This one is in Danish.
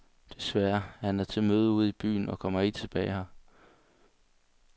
Desværre, han er til møde ude i byen og kommer ikke tilbage her.